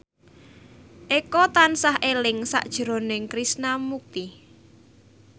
Eko tansah eling sakjroning Krishna Mukti